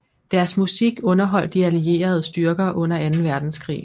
Deres musik underholdt de allierede styrker under anden verdenskrig